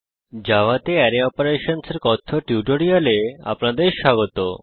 জাভাতে আরায় অপারেশনসহ এর কথ্য টিউটোরিয়ালে আপনাদের স্বাগত